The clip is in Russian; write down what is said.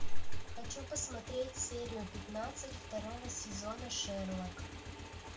хочу посмотреть серию пятнадцать второго сезона шерлок